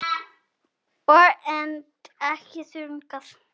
Ör, en ekki þungur.